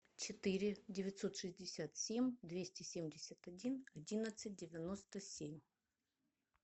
четыре девятьсот шестьдесят семь двести семьдесят один одиннадцать девяносто семь